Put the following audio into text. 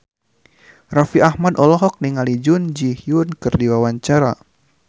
Raffi Ahmad olohok ningali Jun Ji Hyun keur diwawancara